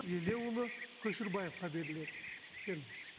елеуұлы көшербаевқа беріледі келіңіз